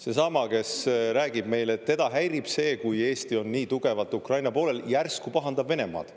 Seesama, kes räägib meile, et teda häirib see, kui Eesti on nii tugevalt Ukraina poolel, järsku pahandab Venemaad.